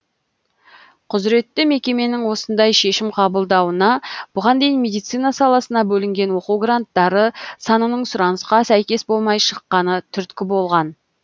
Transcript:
құзыретті мекеменің осындай шешім қабылдауына бұған дейін медицина саласына бөлінген оқу гранттары санының сұранысқа сәйкес болмай шыққаны түрткі болған